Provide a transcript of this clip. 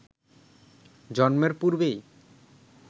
জন্মের পূর্বেই